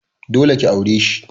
Dole ki aure shi.